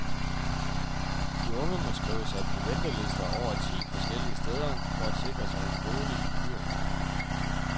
De unge må skrive sig på ventelister over ti forskellige steder for at sikre sig en bolig i byerne.